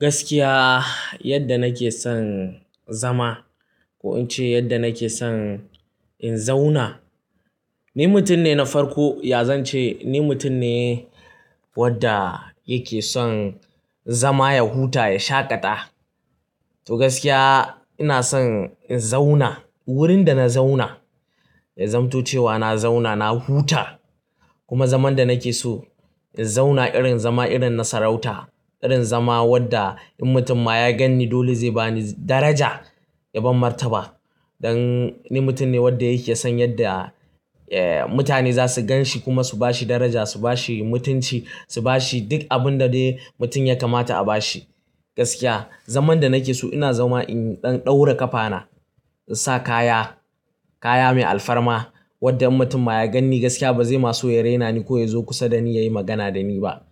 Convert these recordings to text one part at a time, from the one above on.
Gaskiya, yadda nake son zama ko in ce yadda nake son in zauna. Ni mutum ne na farko, yazan ce ni mutum ne wadda yake son zama ya huta, ya shaƙata. To gaskiya ina son in zauna, wurin da na zauna, ya zamto cewa na zauna na huta kuma zaman da nake so in zauna irin zaman irin na sarauta, irin zaman wadda in mutum ma ya gan ni, dole zai bani daraja ya ban martaba. Dan ni mutum ne wadda yake son yadda, eh, mutane za su gan shi kuma su bashi daraja, su bashi mutunci, su bashi duk abin da dai mutum ya kamata a bashi. Gaskiya, zaman da nake so ina zama in ɗaura ƙafana, in sa kaya, kaya mai alfarma wadda in mutum ma ya gan ni gaskiya ba zai ma so ya raina ni ko ya zo kusa da ni ya yi magana da ni ba.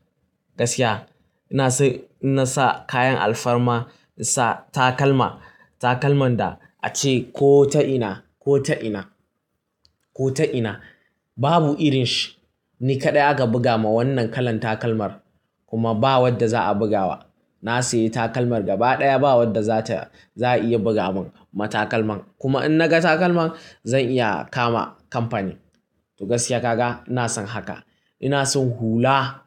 Gaskiya ina so na sa kayan alfarma, in sa takalma, takalman da ace ko ta ina, ko ta ina, ko ta ina babu irinshi. Ni kaɗai aka buga ma wannan kalan takalmar kuma ba wadda za a buga wa. Na sayi takalmar gaba ɗaya ba wadda za ta, za a iya buga min matakalman. Kuma in naga takalman zan iya kama kamfani. To gaskiya kaka ina son haka. Ina son hula.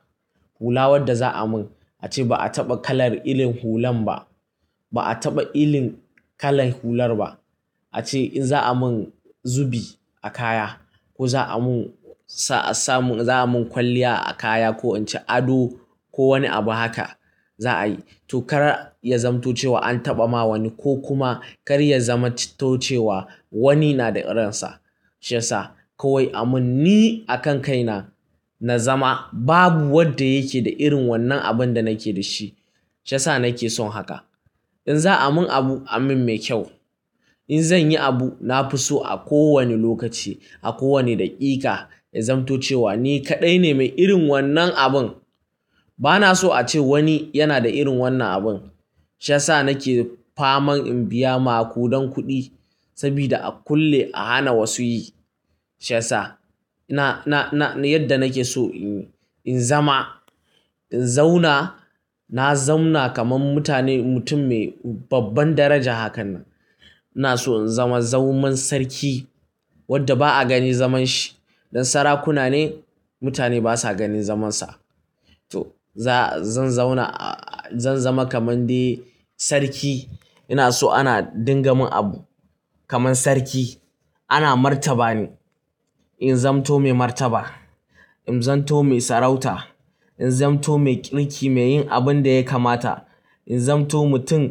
Hula wadda za a mun ace ba a taɓa kalar irin hulan ba. Ba a taɓa irin kalar hular ba. Ace in za a mun zubi a kaya ko za a mun sa, sa mun, za a mun kwalliya a kaya ko in ce ado ko wani abu haka za a yi. To kar ya zamto cewa an taɓa ma wani ko kuma kar ya zamto cewa wani yana da irinsa. Shi ya sa kawai a mun ni a kan kai na, na zama babu wadda yake da irin wannan abin da nake da shi. Shi ya sa nake son haka. In za a mun abu, a mun me kyau. In zan yi abu, na fi so a kowane lokaci, a kowane daƙiƙa ya zamto cewa ni kaɗai ne mai irin wannan abun. Ba na so a ce wani yana da irin wannan abun. Shi ya sa nake faman in biya ma kuɗan kuɗi saboda a kulle, a hana wasu yi. Shi ya sa na, na, na yadda nake so in, in zama, in zauna. Na zamna kamar mutane, mutum mai babban daraja hakan nan. Ina so in zama zaman sarki wadda ba a gani zaman shi. Don sarakuna ne mutane basa ganin zamansa. To za, zan zauna, zan zama kamar dai sarki. Ina so ana dingamin abu kamar sarki. Ana martaba ni. In zamto mai martaba. In zamto mai sarauta. In zamto mai kirki, mai yin abin da ya kamata. In zamto mutum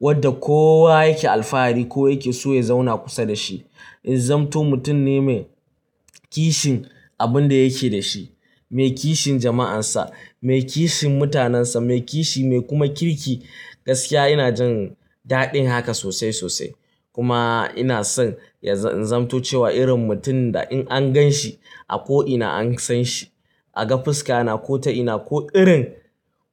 wadda kowa yake alfahari ko yake so ya zauna kusa da shi. In zamto mutum ne mai kishin abin da yake da shi, mai kishin jama'ansa, mai kishin mutanensa, mai kishi, mai kuma kirki. Gaskiya ina jin daɗin haka sosai, sosai. Kuma ina son ya zamto cewa irin mutum da in an gan shi a ko ina an san shi. A ga fuska na ko ta ina ko irin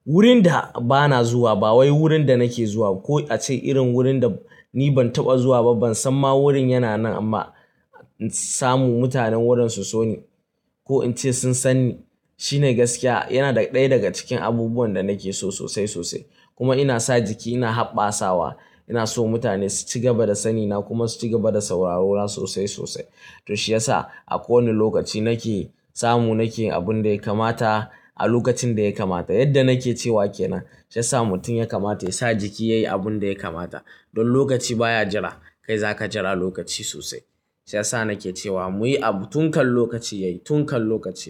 wurin da ba na zuwa ba wai wurin da nake zuwa ko a ce irin wurin da ni ban taɓa zuwa ba, ban san ma wurin yana nan amma samu mutanen wurin su so ni ko in ce sun san ni. Shi ne gaskiya yana ɗaya daga cikin abubuwan da nake so sosai, sosai. Kuma ina sa jiki, ina haɓasawa. Ina so mutane su ci gaba da sani na kuma su ci gaba da sauraro na sosai, sosai. To shi ya sa a kowane lokaci nake samu nake yi abun da ya kamata a lokacin da ya kamata. Yadda nake cewa ke nan. Shi ya sa mutum ya kamata ya sa jiki yayi abun da ya kamata. Don lokaci baya jira. Kai zaka jira lokaci sosai. Shi ya sa nake cewa muyi abu tun kan lokaci yayi, tun kan lokaci.